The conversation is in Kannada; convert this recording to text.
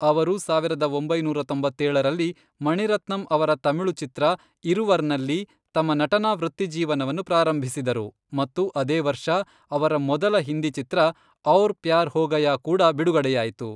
ಅವರು ಸಾವಿರದ ಒಂಬೈನೂರ ತೊಂಬತ್ತೇಳರಲ್ಲಿ, ಮಣಿರತ್ನಂ ಅವರ ತಮಿಳು ಚಿತ್ರ ಇರುವರ್ನಲ್ಲಿ ತಮ್ಮ ನಟನಾ ವೃತ್ತಿಜೀವನವನ್ನು ಪ್ರಾರಂಭಿಸಿದರು ಮತ್ತು ಅದೇ ವರ್ಷ ಅವರ ಮೊದಲ ಹಿಂದಿ ಚಿತ್ರ ಔರ್ ಪ್ಯಾರ್ ಹೋ ಗಯಾ ಕೂಡ ಬಿಡುಗಡೆಯಾಯಿತು.